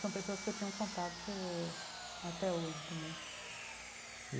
São pessoas que eu tenho contato até hoje também.